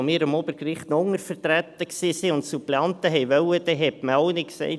Als wir am Obergericht noch untervertreten waren und Suppleanten wollte, sagte man auch nicht: